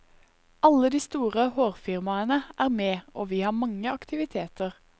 Alle de store hårfirmaene er med og vi har mange aktiviteter.